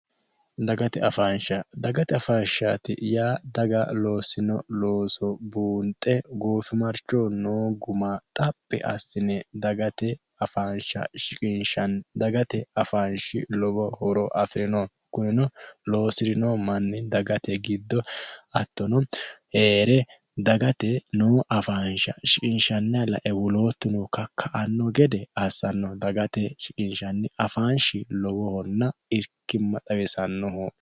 dagate afaansha dagate afaanshaati yaa daga loosino looso buunxe goofimarchoo noo guma xaphi assine dagate afaansha shiqiinshanni dagate afaanshi lowo horo afi'rino kunino loosi'rino manni dagate giddo hattono hee're dagate noo afaansha shiqiinshanna lae wuloottuno kakka anno gede assanno dagate shiqinshanni afaanshi lowohonna irkimma xawisannoho